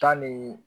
Tan ni